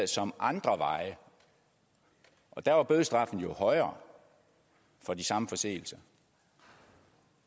som andre veje og der var bødestraffen jo højere for de samme forseelser